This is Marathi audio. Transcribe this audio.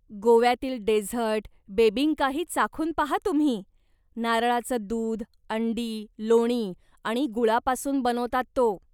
गोव्यातील डेझर्ट, बेबिंकाही चाखून पाहा तुम्ही, नारळाचं दूध, अंडी, लोणी आणि गुळापासून बनवतात तो.